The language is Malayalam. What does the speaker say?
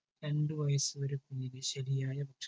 രണ്ടു വയസ്സു വരെ കുഞ്ഞിന് ശെരിയായ ഭക്ഷണം